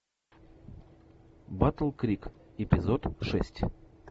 батл крик эпизод шесть